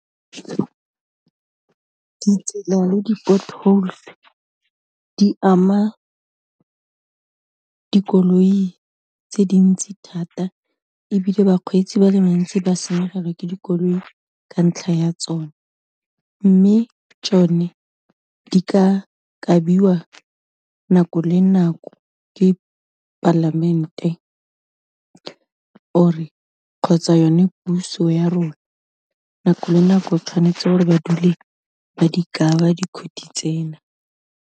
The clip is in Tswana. Ditsela le di pothole, di ama dikoloi tse dintsi thata ebile bakgweetsi ba le bantsi ba senyegelwe ke dikoloi ka ntlha ya tsone, mme, tsone di ka kabiwa nako le nako ke palamente, or-e kgotsa yone puso ya rona, nako le nako tshwanetse gore ba dule ba di kaba dikhuti tsena.